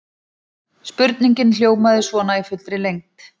Spurningin hljómaði svona í fullri lengd: